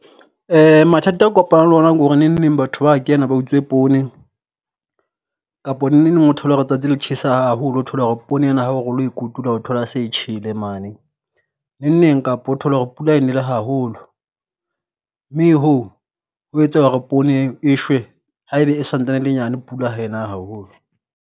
Mathata a kopanang le wona ko re neng neng batho ba kena ba utswe poone, kapo neng neng o thole hore tsatsi le tjhesa haholo o thole hore poone ena ha o re o lo e kotula o thola e se e tjhele mane. Neng neng kapo o thole hore pula e nele haholo, mme hoo ho etsa hore poone e shwe haebe e santane e le nyane pula ha e na haholo.